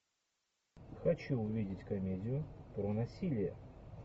хочу увидеть комедию про насилие